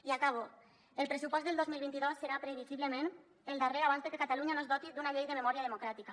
i acabo el pressupost del dos mil vint dos serà previsiblement el darrer abans de que catalunya no es doti d’una llei de memòria democràtica